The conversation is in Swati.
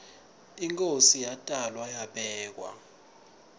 inkhosi iyatalwa ayibekwa